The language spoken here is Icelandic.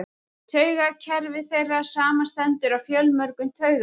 Taugakerfi þeirra samanstendur af fjölmörgum taugafrumum.